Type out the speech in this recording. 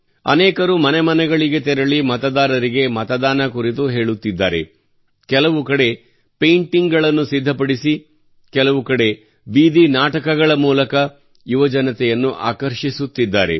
ಅನೇಕರು ಮನೆ ಮನೆಗಳಿಗೆ ತೆರಳಿ ಮತದಾರರಿಗೆ ಮತದಾನ ಕುರಿತು ಹೇಳುತ್ತಿದ್ದಾರೆ ಕೆಲವು ಕಡೆ ಪೈಂಟಿಂಗ್ ಗಳನ್ನು ಸಿದ್ಧಪಡಿಸಿ ಕೆಲವು ಬೀದಿ ನಾಟಕಗಳ ಮೂಲಕ ಯುವಜನತೆಯನ್ನು ಆಕರ್ಷಿಸುತ್ತಿದ್ದಾರೆ